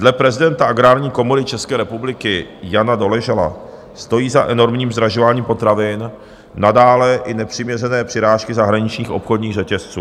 Dle prezidenta Agrární komory České republiky Jana Doležala stojí za enormním zdražováním potravin nadále i nepřiměřené přirážky zahraničních obchodních řetězců.